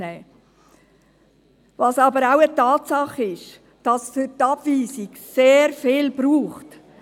Tatsache ist aber auch, dass es für eine Abweisung sehr viel braucht.